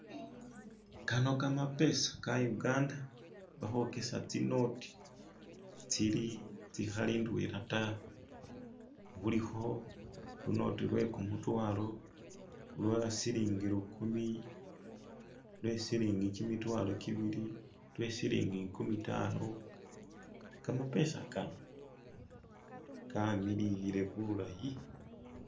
Kano kamapesa ka'Uganda, bakhwokesa tsi'noti tsi'khali ndwela ta. Khulikho lu'noti lwe'kumutwalo, lwo'silingi lu'kumi, lwo'silingi kimitwalo ki'bili, lwo'silingi nkumitano, Kamapesa kaano, kamililile bulayi!